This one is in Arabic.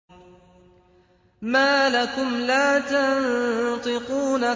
مَا لَكُمْ لَا تَنطِقُونَ